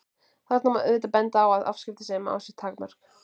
Þarna má auðvitað benda á að afskiptasemi á sér takmörk.